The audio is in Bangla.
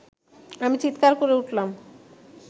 আমি চীৎকার করে উঠলাম